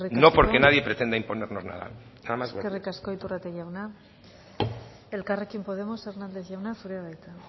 no porque nadie pretenda imponernos nada nada más eskerrik asko iturrate jauna elkarrekin podemos hernández jauna zurea da hitza